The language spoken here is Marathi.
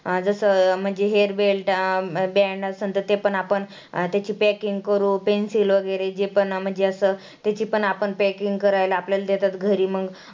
जसं म्हणजे hair belt ते पण आपण त्याची packing करू, pencil वगैरे जे पण म्हणजे असं त्याची आपण packing करायला आपल्याला देतात घरी मग